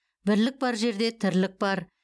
бірлік бар жерде тірлік бар